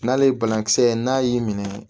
N'ale ye banakisɛ n'a y'i minɛ